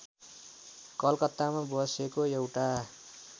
कलकत्तामा बसेको एउटा